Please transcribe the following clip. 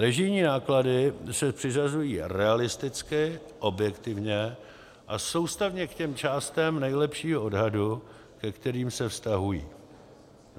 Režijní náklady se přiřazují realisticky, objektivně a soustavně k těm částem nejlepšího odhadu, ke kterým se vztahují.